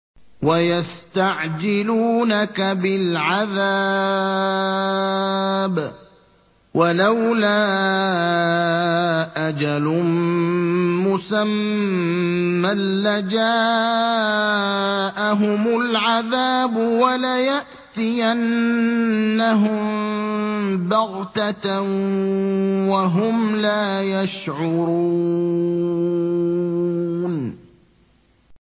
وَيَسْتَعْجِلُونَكَ بِالْعَذَابِ ۚ وَلَوْلَا أَجَلٌ مُّسَمًّى لَّجَاءَهُمُ الْعَذَابُ وَلَيَأْتِيَنَّهُم بَغْتَةً وَهُمْ لَا يَشْعُرُونَ